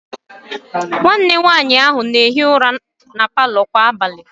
Nwanne nwaanyị ahụ na-ehi ụra na palọ kwa abalị